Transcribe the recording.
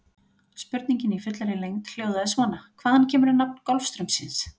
Spurningin í fullri lengd hljóðaði svona: Hvaðan kemur nafn Golfstraumsins?